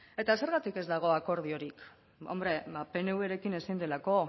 eta zergatik ez dago akordiorik hombre ba pnvrekin ezin delako